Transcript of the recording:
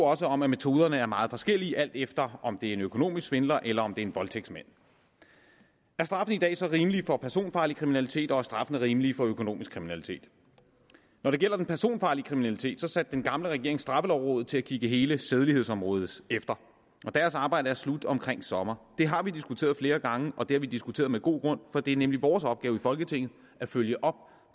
også om at metoderne er meget forskellige alt efter om det er en økonomisk svindler eller om det er en voldtægtsmand er straffen i dag så rimelig for personfarlig kriminalitet og er straffen rimelig for økonomisk kriminalitet når det gælder den personfarlige kriminalitet satte den gamle regering straffelovrådet til at kigge hele sædelighedsområdet efter og deres arbejde er slut omkring sommer det har vi diskuteret flere gange og det har vi diskuteret med god grund for det er nemlig vores opgave i folketinget at følge op